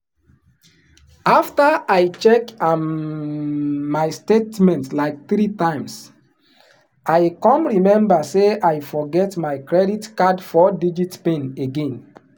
"after i check um my statement like three times i come remember say i forget my credit card four-digit pin again."